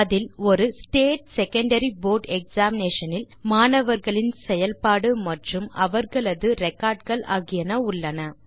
அதில் ஒரு state secondary board examination இல் மாணவர்களின் செயல்பாடு மற்றும் அவர்களது ரெக்கார்ட் கள் ஆகியன உள்ளன